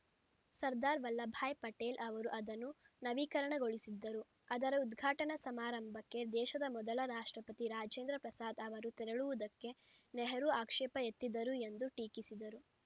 ಸರ್ದಾರ್‌ ವಲ್ಲಭಭಾಯ್‌ ಪಟೇಲ್‌ ಅವರು ಅದನ್ನು ನವೀಕರಣಗೊಳಿಸಿದ್ದರು ಅದರ ಉದ್ಘಾಟನಾ ಸಮಾರಂಭಕ್ಕೆ ದೇಶದ ಮೊದಲ ರಾಷ್ಟ್ರಪತಿ ರಾಜೇಂದ್ರ ಪ್ರಸಾದ್‌ ಅವರು ತೆರಳುವುದಕ್ಕೆ ನೆಹರು ಆಕ್ಷೇಪ ಎತ್ತಿದ್ದರು ಎಂದು ಟೀಕಿಸಿದರು